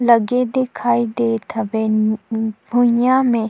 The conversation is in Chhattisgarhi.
लगे दिखाई देत हवे उँ भुईयया मे--